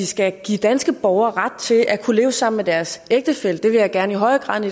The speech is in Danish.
skal give danske borgere ret til at kunne leve sammen med deres ægtefælle det vil jeg gerne i højere grad